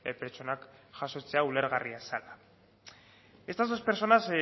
pertsonak jasotzea ulergarria zela estas dos personas